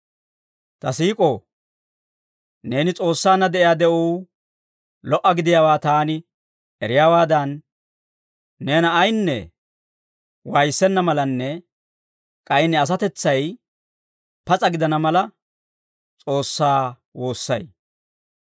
Ta siik'oo, neeni S'oossaanna de'iyaa de'uu lo"a gidiyaawaa taani eriyaawaadan, neena ayaynne waayissenna malanne k'ay ne asatetsay pas'a gidana mala, S'oossaa woossay.